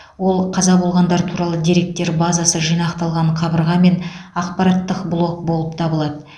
ол қаза болғандар туралы деректер базасы жинақталған қабырға мен ақпараттық блок болып табылады